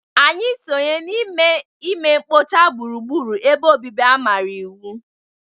Anyị sonye n'ime ime mkpocha gburugburu ebe obibi a manyere iwu